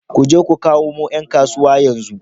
Ku je ku kamo ’yan kasuwa yanzu